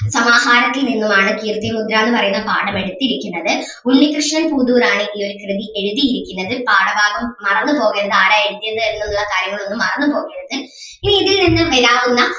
സമാഹാരത്തിൽ നിന്നും ആണ് കീർത്തിമുദ്ര എന്ന് പറയുന്ന പാഠം എടുത്തിരിക്കുന്നത്. ഉണ്ണികൃഷ്ണൻ പുതൂർ ആണ് ഈ ഒരു കൃതി എഴുതിയിരിക്കുന്നത് പാഠഭാഗം മറന്ന് പോകരുത് ആരാ എഴുതിയത് എന്നുള്ള കാര്യങ്ങൾ ഒന്നും മറന്ന് പോകരുത് ഇനി ഇതിൽ നിന്നും വരാവുന്ന